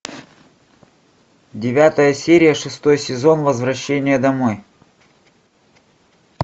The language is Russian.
девятая серия шестой сезон возвращение домой